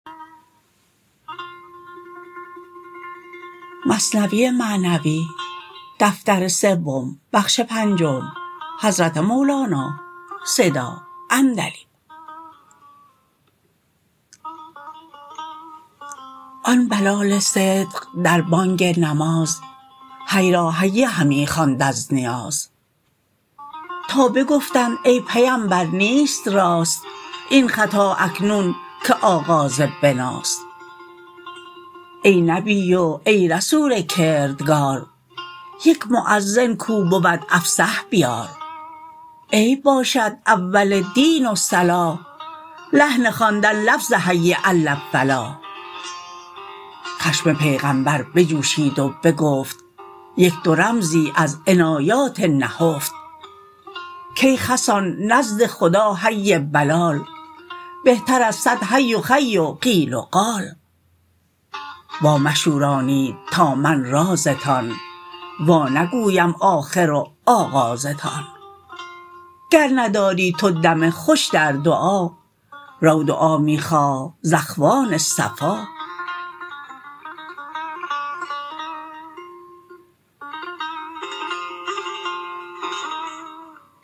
آن بلال صدق در بانگ نماز حی را هی همی خواند از نیاز تا بگفتند ای پیمبر نیست راست این خطا اکنون که آغاز بناست ای نبی و ای رسول کردگار یک مؤذن کو بود افصح بیار عیب باشد اول دین و صلاح لحن خواندن لفظ حی عل فلاح خشم پیغمبر بجوشید و بگفت یک دو رمزی از عنایات نهفت کای خسان نزد خدا هی بلال بهتر از صد حی و خی و قیل و قال وا مشورانید تا من رازتان وا نگویم آخر و آغازتان گر نداری تو دم خوش در دعا رو دعا می خواه ز اخوان صفا